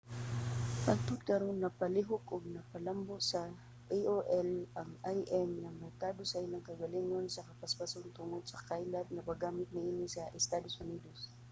hangtud karon napalihok ug napalambo sa aol ang im nga merkado sa ilang kaugalingon nga kapaspason tungod sa kaylap nga paggamit niini sa estados unidos